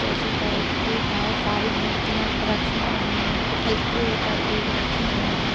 Statue type की बोहोत सारी मूर्तियाँ रखी हुईं है। एक के ऊपर एक रखी हुईं हैं।